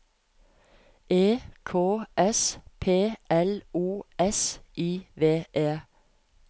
E K S P L O S I V E